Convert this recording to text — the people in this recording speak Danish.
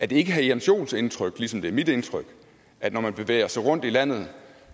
det ikke herre jens joels indtryk ligesom det er mit indtryk at når man bevæger sig rundt i landet